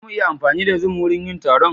Za mu iya amfani da zoom wurin yin taron?